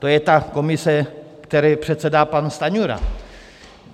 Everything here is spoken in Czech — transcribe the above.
To je ta komise, které předsedá pan Stanjura.